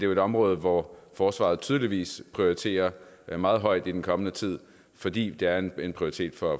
jo et område hvor forsvaret tydeligvis prioriteres meget højt i den kommende tid fordi det er en prioritet for